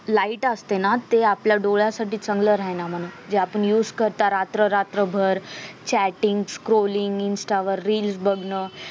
light असत ना ते आपल्या डोळ्यासाठी चांगलं राह्यला म्हणून जे आपण used करता रात्र रात्र भर chattings crolling insta वर reel बगन